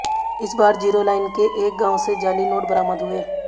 इस बार zero line के एक गांव से जाली नोट बरामद हुए